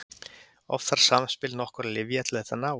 Oft þarf samspil nokkurra lyfja til að þetta náist.